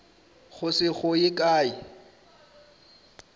go se go ye kae